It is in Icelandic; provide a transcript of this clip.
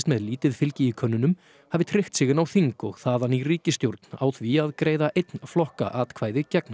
með lítið fylgi í könnunum hafi tryggt sig inn á þing og þaðan í ríkisstjórn á því að greiða einn flokka atkvæði gegn